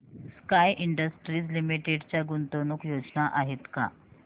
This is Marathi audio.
स्काय इंडस्ट्रीज लिमिटेड च्या गुंतवणूक योजना आहेत का